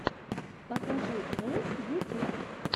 покажи рэс ютюб